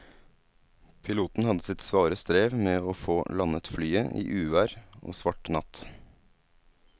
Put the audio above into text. Piloten hadde sitt svare strev med å få landet flyet i uvær og svart natt.